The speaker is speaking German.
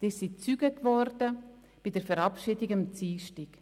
Sie waren Zeugen bei den Verabschiedungen am Dienstag.